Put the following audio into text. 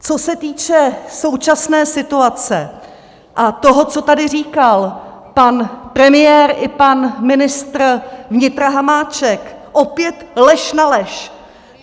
Co se týče současné situace a toho, co tady říkal pan premiér i pan ministr vnitra Hamáček, opět lež na lež!